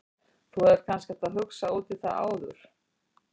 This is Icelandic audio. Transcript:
Þú hefðir kannski átt að hugsa út í það áður en þú.